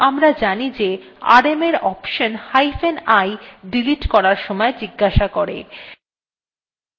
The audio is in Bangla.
কিন্তু আমরা জানি যে rm command we option hyphen i delete করার সময় জিজ্ঞাসা করে